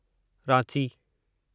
Ranchi